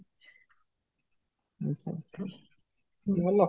ଅଛ ହଉ, ଭଲ